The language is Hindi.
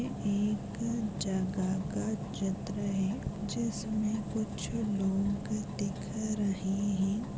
एक जगह का चित्र है जिस में कुछ लोग दिख रहे हैं।